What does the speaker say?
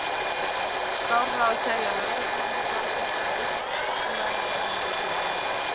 Skárra að segja lögreglunni það sem ég veit, hún verður að vinna sína vinnu.